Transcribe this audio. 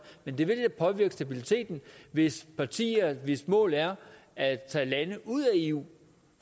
men det vil da påvirke stabiliteten hvis partier hvis mål er at tage lande ud af eu